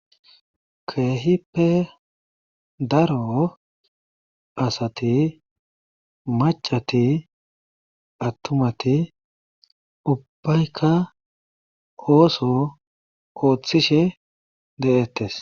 keehippe daro asati maccati attumatu ubbayka ooso oothishe de7eeettees.